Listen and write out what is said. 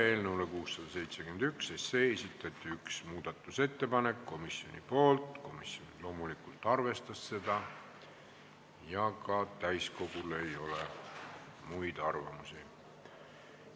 Eelnõu 671 kohta esitati üks muudatusettepanek komisjonilt, komisjon loomulikult arvestas seda ja ka täiskogul ei ole muid arvamusi.